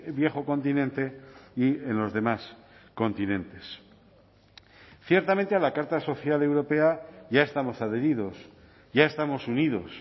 viejo continente y en los demás continentes ciertamente a la carta social europea ya estamos adheridos ya estamos unidos